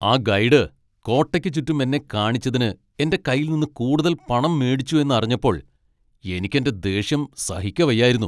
ആ ഗൈഡ് കോട്ടയ്ക്ക് ചുറ്റും എന്നെ കാണിച്ചതിന് എന്റെ കയ്യിൽ നിന്ന് കൂടുതൽ പണം മേടിച്ചു എന്ന് അറിഞ്ഞപ്പോൾ എനിക്ക് എന്റെ ദേഷ്യം സഹിക്കവയ്യായിരുന്നു.